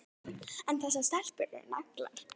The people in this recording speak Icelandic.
En þessar stelpur eru naglar.